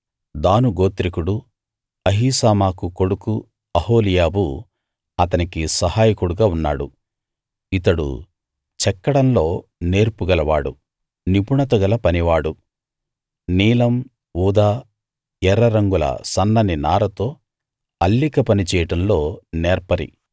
దాను గోత్రికుడు అహీసామాకు కొడుకు అహోలీయాబు అతనికి సహాయకుడుగా ఉన్నాడు ఇతడు చెక్కడంలో నేర్పు గలవాడు నిపుణత గల పనివాడు నీలం ఊదా ఎర్ర రంగుల సన్నని నారతో అల్లిక పని చేయడంలో నేర్పరి